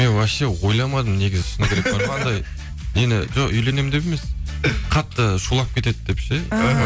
мен вообще ойламадым негізі сондай бар ғой анандай нені жоқ үйленемін деп емес қатты шулап кетеді деп ше